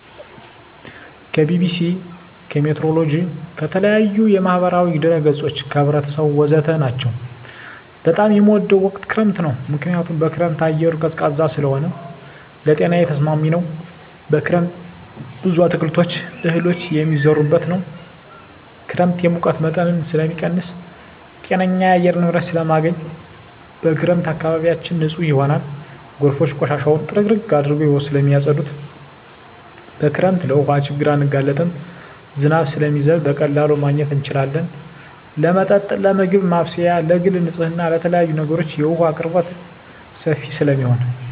ከቢቢሲ, ከሜትሮሎጅ, ከተለያዪ የማህበራዊ ድረ ገፆች , ከህብረተሰቡ ወዘተ ናቸው። በጣም የምወደው ወቅት ክረምት ነው ምክንያቱም በክረምት አየሩ ቀዝቃዛ ስለሆነ ለጤናዬ ተስማሚ ነው። በክረምት ብዙ አትክልቶች እህሎች የሚዘሩበት ነው። ክረምት የሙቀት መጠንን ስለሚቀንስ ጤነኛ የአየር ንብረት ስለማገኝ። በክረምት አካባቢያችን ንፁህ ይሆናል ጎርፎች ቆሻሻውን ጥርግርግ አድርገው ስለማፀዱት። በክረምት ለውሀ ችግር አንጋለጥም ዝናብ ስለሚዘንብ በቀላሉ ማግኘት እንችላለን ለመጠጥ ለምግብ ማብሰያ ለግል ንፅህና ለተለያዪ ነገሮች የውሀ አቅርቦት ሰፊ ስለሚሆን።